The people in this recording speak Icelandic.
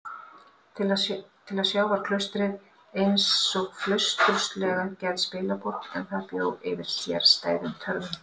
Til að sjá var klaustrið einsog flausturslega gerð spilaborg, en það bjó yfir sérstæðum töfrum.